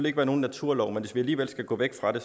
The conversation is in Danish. ikke være nogen naturlov men hvis vi alligevel skal gå væk fra det